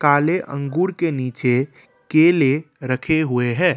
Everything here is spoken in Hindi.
काले अंगूर के नीचे केले रखे हुए हैं।